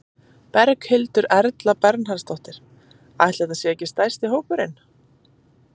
Berghildur Erla Bernharðsdóttir: Ætli þetta sé ekki stærsti hópurinn?